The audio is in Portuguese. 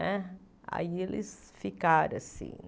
Né aí eles ficaram assim.